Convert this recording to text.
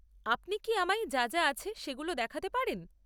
আপনি কি আমায় যা যা আছে সেগুলো দেখাতে পারেন?